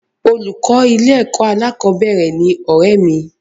Olùkọ́ ilé-ẹ̀kọ́ alákọ̀ọ́bẹ̀rẹ̀ ni ọ̀rẹ́ẹ̀ mi